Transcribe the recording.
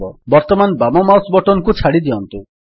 ବର୍ତ୍ତମାନ ବାମ mouse button କୁ ଛାଡ଼ିଦିଅନ୍ତୁ